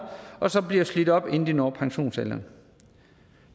og som bliver slidt op inden de når pensionsalderen